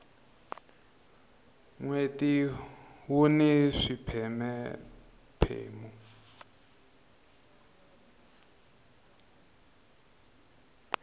nweti wuni swipheme phemu